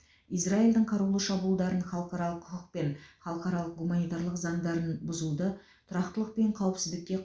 израильдің қарулы шабуылдарын халықаралық құқық пен халықаралық гуманитарлық заңдарын бұзуды тұрақтылық пен қауіпсіздікке